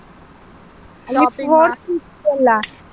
.